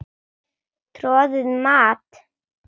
Troðið mat?